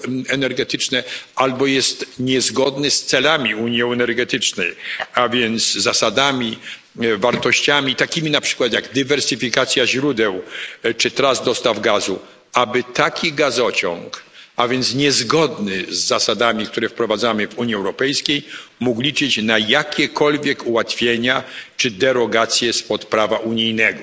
energetyczne albo jest niezgodny z celami unii energetycznej, a więc zasadami, wartościami, takimi na przykład jak dywersyfikacja źródeł czy tras dostaw gazu, aby taki gazociąg, a więc niezgodny z zasadami, które wprowadzamy w Unii Europejskiej, mógł liczyć na jakiekolwiek ułatwienia czy derogację spod prawa unijnego.